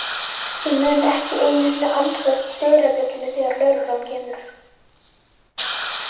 Ég mun ekki einu sinni ansa dyrabjöllunni þegar lögreglan kemur.